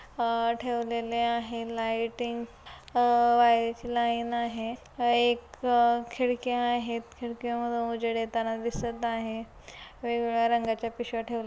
आ ठेवलेले आहे लायटिंग आ वायझ लाइन आहे आ एक खिडक्या आहेत खिडक्यामधून उजेड येताना दिसत आहे वेग-वेगळ्या रंगाच्या पिशव्या--